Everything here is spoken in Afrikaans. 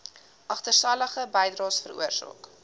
agterstallige bydraes veroorsaak